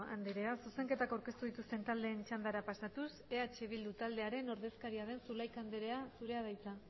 andrea zuzenketak aurkeztu dituzten taldeen txandara pasatuz eh bildu taldearen ordezkaria den zulaika andrea zurea da hitza